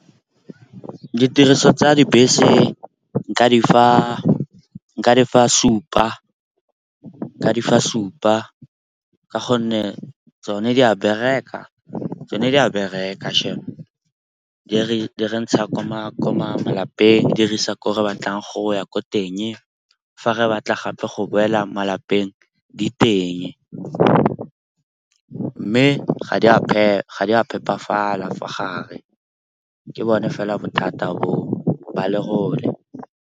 Ditiriso tsa dibese nka di fa supa ka gonne tsone di a bereka shame. Di re ntsha ko malapeng, di re isa ko re batlang go ya ko teng. Fa re batla gape go boela malapeng di teng, mme ga di a phepafala fa gare ke bone fela bothata bo o, ba lerole.